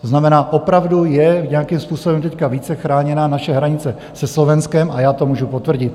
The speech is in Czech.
To znamená, opravdu je nějakým způsobem teď více chráněná naše hranice se Slovenskem, a já to můžu potvrdit.